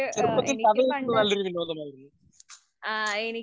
ചെറുപ്പത്തിൽ കഥ കേൾക്കുന്നത് നല്ലൊരു വിനോദമായിരുന്നു.